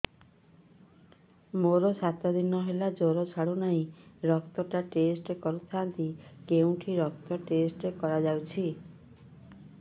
ମୋରୋ ସାତ ଦିନ ହେଲା ଜ୍ଵର ଛାଡୁନାହିଁ ରକ୍ତ ଟା ଟେଷ୍ଟ କରିଥାନ୍ତି କେଉଁଠି ରକ୍ତ ଟେଷ୍ଟ କରା ଯାଉଛି